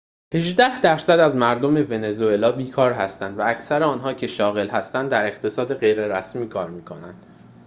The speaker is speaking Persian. هجده درصد از مردم ونزوئلا بیکار هستند و اکثر آنهایی که شاغل هستند در اقتصاد غیررسمی کار می‌کنند